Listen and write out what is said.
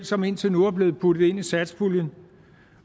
som indtil nu er blevet puttet ind i satspuljen